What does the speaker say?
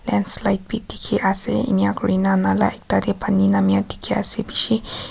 landslide bi dikhi ase enika kurna nala ekta tey pani namya dikhi ase bishi--